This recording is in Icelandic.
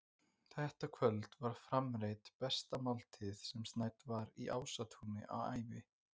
Þetta kvöld var framreidd besta máltíð sem snædd var í Ásatúni á ævi